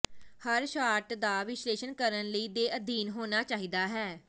ਹਰ shot ਦਾ ਵਿਸ਼ਲੇਸ਼ਣ ਕਰਨ ਲਈ ਦੇ ਅਧੀਨ ਹੋਣਾ ਚਾਹੀਦਾ ਹੈ